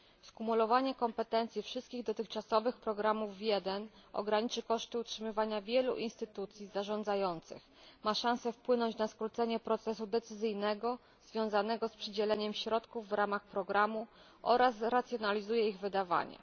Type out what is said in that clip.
Skumulowanie kompetencji wszystkich dotychczasowych programów w jeden ograniczy koszty utrzymywania wielu instytucji zarządzających, ma szansę wpłynąć na skrócenie procesu decyzyjnego związanego z przydzielaniem środków w ramach programu oraz zracjonalizuje ich wydawanie.